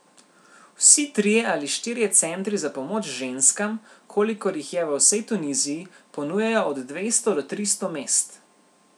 Vsi trije ali štirje centri za pomoč ženskam, kolikor jih je v vsej Tuniziji, ponujajo od dvesto do tristo mest.